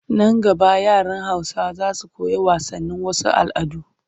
Nan gaba yaran Hausawa za su koyi wasanin wasu al'adun